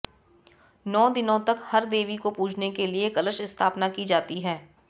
नौ दिनों तक हर देवी को पूजने के लिए कलश स्थापना की जाती है